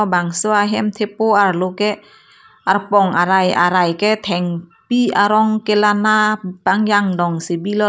labangso ahem thepo arlo ke arpong arai arai ke thengpi arong kelana pangjang dongsi bilo.